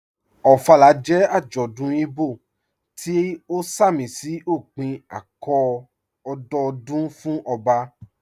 Ofala jẹ́ ajọ́dún Ìgbò tí o sàmísí ọ̀pìn ạ̀kọ̀ọ̀ ọ̀dọọ̀dún fún ọbà